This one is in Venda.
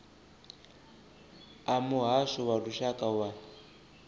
a muhasho wa lushaka wa